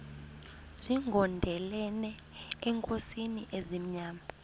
zigondelene neenkosi ezimnyama